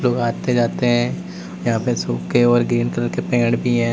लोग आते जाते हैं यहां पे सुखे और ग्रीन कलर के पेड़ भी हैं।